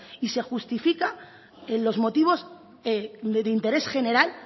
y se justifica en los motivos de interés general